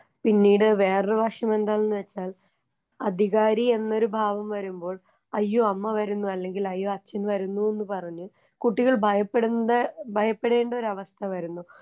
പിന്നീട് വേറൊരു വശമെന്താണെന്ന് വെച്ചാൽ അധികാരി എന്നൊരു ഭാവം വരുമ്പോൾ അയ്യോ അമ്മ വരുന്നു അല്ലെങ്കിൽ അയ്യോ അച്ഛൻ വരുന്നൂന്ന് പറഞ്ഞ് കുട്ടികൾ ഭയപ്പെടുന്നത് ഭയപ്പെടേണ്ടൊരവസ്ഥ വരുന്നു.